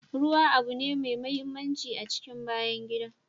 Ruwa abu mai mahimmanci ne a cikin bayan gida.